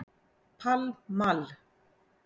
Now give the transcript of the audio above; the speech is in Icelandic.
Pall Mall